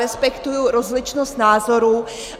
Respektuji rozličnost názorů.